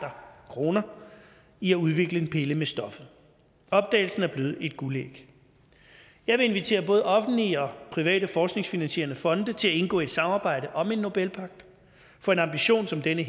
kroner i at udvikle en pille med stoffet opdagelsen er blevet et guldæg jeg vil invitere både offentlige og private forskningsfinansierende fonde til at indgå et samarbejde om en nobelpagt for en ambition som denne